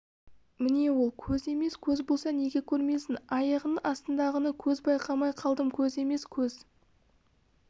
міне ол көз емес көз болса неге көрмейсің аяғыңның астындағыны көз байқамай қалдым көз емес көз